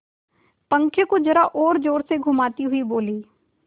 पंखे को जरा और जोर से घुमाती हुई बोली